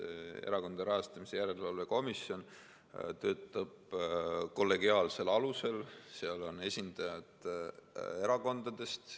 Erakondade Rahastamise Järelevalve Komisjon töötab kollegiaalsel alusel, seal on esindajad erakondadest.